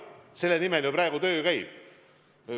Selle nimel ju praegu töö käib.